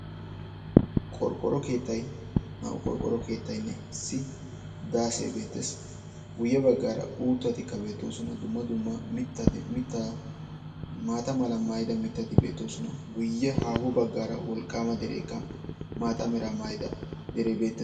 Qorqqoro kettay naa"u qorqqoro keettayinne issi daasee beettees. guye baggaara uuttatika beettoosona. dumma dumma mittaa maata mala maayida mittati beettoosona. guye haaho baggaara wolqqaama dereekka maata meraa maayida dereekka beettees.